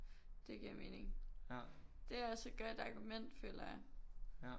Det giver mening det er også et godt argument føler jeg